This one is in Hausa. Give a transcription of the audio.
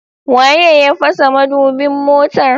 Waye ya fasa madubin motar?